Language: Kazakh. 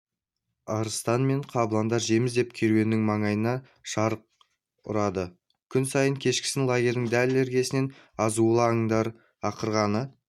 арыстан мен қабыландар жем іздеп керуен маңайында шарық ұрады күн сайын кешкісін лагердің дәл іргесінен азулы аңдардың ақырғаны